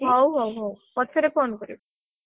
ହଉ ହଉ ହଉ, ପଛରେ phone କରିବୁ।